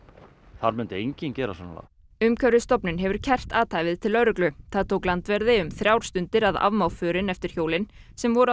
þar myndi enginn gera svona lagað hefur kært athæfið til lögreglu það tók landverði þrjár stundir að afmá förin eftir hjólin sem voru að